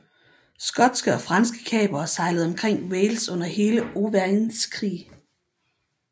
Skotske og franske kapere sejlede omkring Wales under hele Owains krig